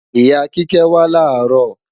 Ìyá Kíkẹ́ wá làárọ̀